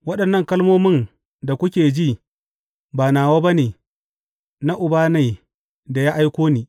Waɗannan kalmomin da kuke ji ba nawa ba ne; na Uba ne da ya aiko ni.